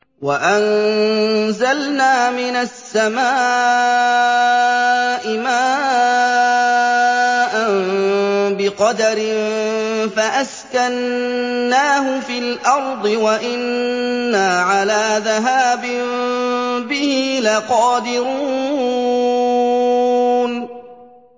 وَأَنزَلْنَا مِنَ السَّمَاءِ مَاءً بِقَدَرٍ فَأَسْكَنَّاهُ فِي الْأَرْضِ ۖ وَإِنَّا عَلَىٰ ذَهَابٍ بِهِ لَقَادِرُونَ